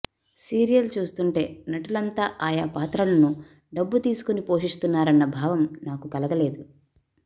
serial చూస్తుంటే నటులంతా ఆయా పాత్రలను డబ్బులు తీసుకుని పోషిస్తున్నారన్న భావం నాకు కలగలేదు